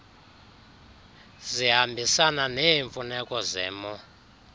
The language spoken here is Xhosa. zihambisana neemfuneko zemo